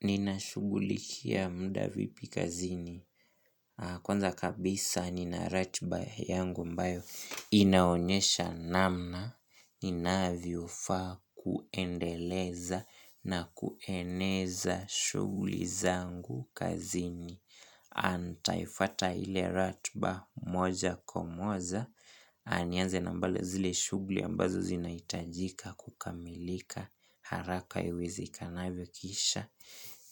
Ninashugulikia muda vipi kazini? Kwanza kabisa nina ratiba yangu ambayo inaonyesha namna Ninavyofaa kuendeleza na kueneza shughuli zangu kazini nitaifuata ile ratiba moja kwa moja nianze nambale zile shughuli ambazo zinahitajika kukamilika haraka iwezekanavyo kisha